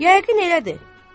Yəqin elədir.